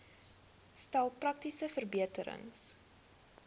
stel praktiese verbeterings